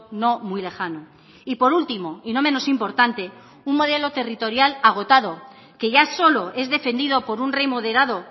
no muy lejano y por último y no menos importante un modelo territorial agotado que ya solo es defendido por un rey moderado